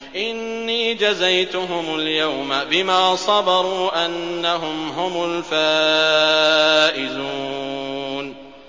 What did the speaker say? إِنِّي جَزَيْتُهُمُ الْيَوْمَ بِمَا صَبَرُوا أَنَّهُمْ هُمُ الْفَائِزُونَ